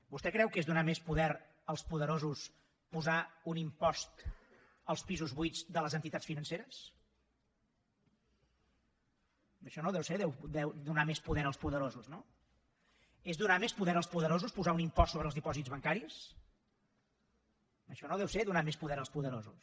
vostè creu que és donar més poder als poderosos posar un impost als pisos buits de les entitats financeres això no deu ser donar més poder als poderosos no és donar més poder als poderosos posar un impost sobre els dipòsits bancaris això no deu ser donar més poder als poderosos